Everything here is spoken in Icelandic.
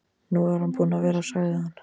Nú er hann búinn að vera, sagði hann.